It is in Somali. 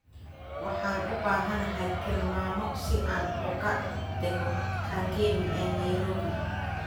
Waxaan u baahanahay tilmaamo si aan uga dego kangemi ee nairobi